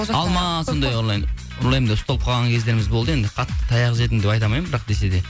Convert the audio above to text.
алма сондай ұрлаймын деп ұсталып қалған кездеріміз болды енді қатты таяқ жедім деп айта алмаймын бірақ десе де